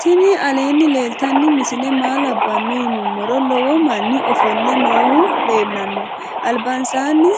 tinni aleni leltano misile maa labano yinumoro. lowo mani ofole nohu leelano albansani